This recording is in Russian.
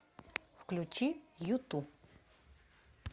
включи юту